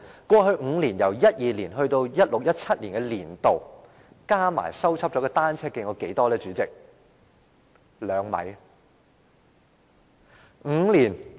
過去5年，由2012年至 2016-2017 年年度，已修葺的單車徑合計有多少呢？